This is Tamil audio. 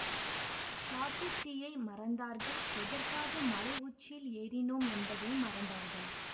காட்டு தீயை மறந்தார்கள் எதற்காக மலை உச்சியில் ஏறினோம் என்பதையும் மறந்தார்கள்